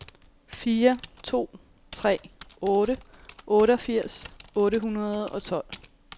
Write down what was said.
fire to tre otte otteogfirs otte hundrede og tolv